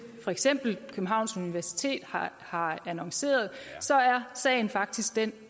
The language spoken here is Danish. for eksempel københavns universitet har annonceret så er sagen faktisk den